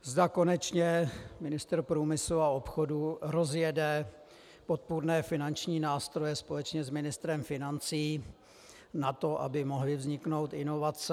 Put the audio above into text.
Zda konečně ministr průmyslu a obchodu rozjede podpůrné finanční nástroje společně s ministrem financí na to, aby mohly vzniknout inovace.